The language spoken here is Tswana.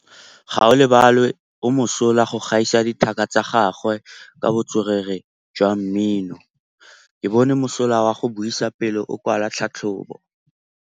Gaolebalwe o mosola go gaisa dithaka tsa gagwe ka botswerere jwa mmino. Ke bone mosola wa go buisa pele o kwala tlhatlhobô.